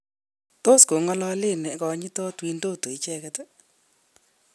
Tos go'ngololen nekonyitot Windodo ichegeti?